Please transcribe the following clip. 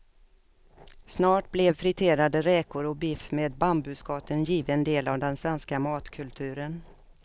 Snart blev friterade räkor och biff med bambuskott en given del av den svenska matkulturen.